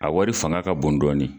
A wari fanga ka bon dɔɔnin.